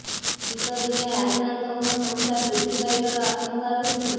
ଶୀତ ଦିନେ ଆକ୍ରାନ୍ତଙ୍କ ସଂଖ୍ୟା ବୃଦ୍ଧି ପାଇବାର ଆଶଙ୍କା ରହିଛି